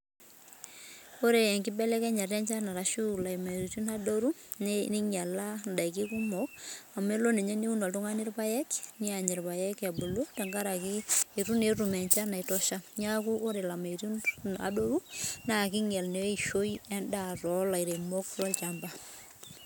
Ore enkibelekenyata enchan ashuu ilameyutin adoru neinyiala indaiki kumok amu eleo ninye niun oltungani irpayek neany irpayek ebulu tenkaraki etu naa etum enchan naitosha neaku ore ilameyutin adoru naa keinyial naa endaa too ilairemok loochamba